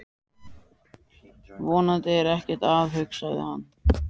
Vonandi er ekkert að, hugsaði hann.